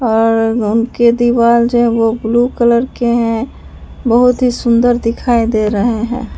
और उनके दीवार से वो ब्लू कलर के हैं बहोत ही सुंदर दिखाई दे रहे हैं।